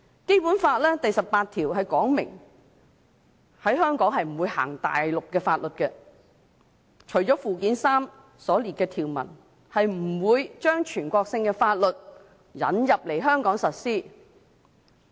《基本法》第十八條訂明，在香港不會實施內地法律，除了附件三所列的法律外，不會將全國性法律引入香港實施。